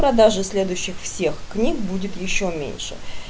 продажа следующих всех книг будет ещё меньше